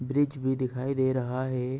Bridge भी दिखाई दे रहा है।